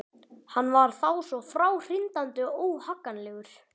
Hann var þá svo fráhrindandi og óhagganlegur.